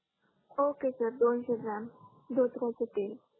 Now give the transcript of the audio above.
okay sir दोनसे gram धोत्र्याचे तेल